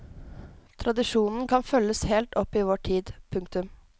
Tradisjonen kan følges helt opp i vår tid. punktum